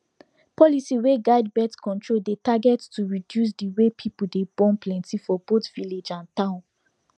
policy wey guide birth control dey target to reduce the way people dey born plenty for both village and town